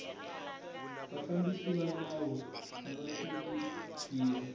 vafambisi va nawu ava hloniphiwa